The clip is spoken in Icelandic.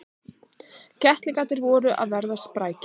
Kettlingarnir voru að verða sprækir.